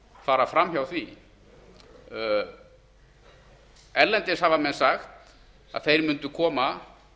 fara fram hjá því erlendis hafa menn sagt að þeir mundu koma